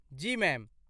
जी ma'am.